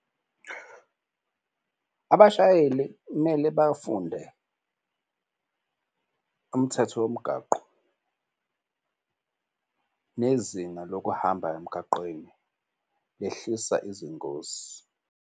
Abashayeli kumele bafunde umthetho womgwaqo, nezinga lokuhamba emgaqweni lehlisa izingosi.